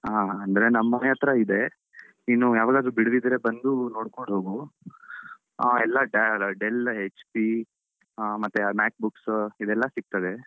ಹಾ ಅಂದ್ರೆ ನಮ್ ಮನೆ ಹತ್ರ ಇದೆ ನೀನು ಯಾವಾಗಾದ್ರೂ ಬಿಡುವಿದ್ರೆ ಬಂದು ನೋಡ್ಕೊಂಡು ಹೋಗು, ಅಹ್ ಎಲ್ಲಾ Dell HP ಅಹ್ ಮತ್ತೆ Mac books ಇದೆಲ್ಲ ಸಿಗ್ತದೆ.